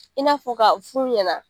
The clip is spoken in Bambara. I n'a fɔ k'a f'u ɲɛna.